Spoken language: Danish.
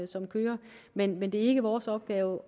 som kører men men det er ikke vores opgave